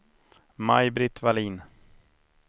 Maj-Britt Vallin